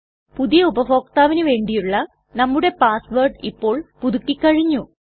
പുതിയ ഉപഭോക്താവിന് വേണ്ടിയുള്ള നമ്മുടെ പാസ് വേർഡ് ഇപ്പോൾ പുതുക്കി കഴിഞ്ഞു